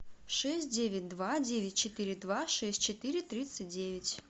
шесть девять два девять четыре два шесть четыре тридцать девять